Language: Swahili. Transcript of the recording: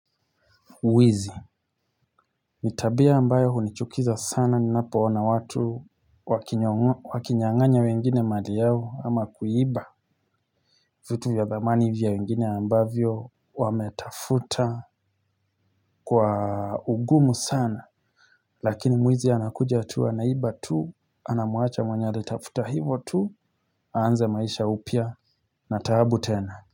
Wizi, ni tabia ambayo hunichukiza sana ninapo ona watu wakinyanganya wengine mali yao ama kuiba vitu vya dhamani vya wengine ambavyo wame tafuta kwa ugumu sana lakini mwizi anakuja tu anaiba tu anamuacha mwenye alitafuta hivo tu aanze maisha upya na taabu tena.